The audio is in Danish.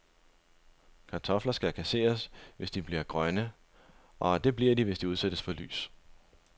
Kartofler skal kasseres, hvis de bliver grønne, og det bliver de, hvis de udsættes for lys.